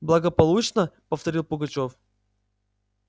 благополучно повторил пугачёв